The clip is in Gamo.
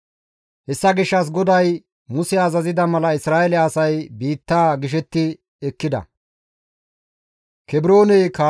Hessa gishshas GODAY Muse azazida mala Isra7eele asay biittaa gishetti ekkida.